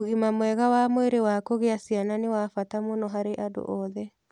Ũgima mwega wa mwĩrĩ wa kũgĩa ciana nĩ wa bata mũno harĩ andũ othe.